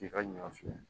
K'i ka ɲɔ fiyɛ